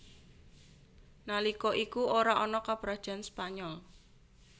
Nalika iku ora ana Kaprajan Spanyol